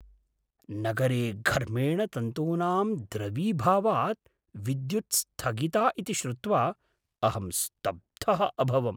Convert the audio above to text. नगरे घर्मेण तन्तूनां द्रवीभावात् विद्युद् स्थगिता इति श्रुत्वा अहं स्तब्धः अभवम्।